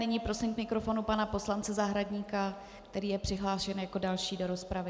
Nyní prosím k mikrofonu pana poslance Zahradníka, který je přihlášen jako další do rozpravy.